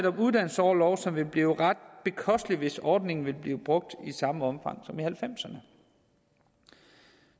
om uddannelsesorlov som vil blive ret bekosteligt hvis ordningen bliver brugt i samme omfang som nitten halvfemserne